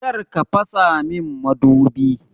Kar ka fasa min madubi!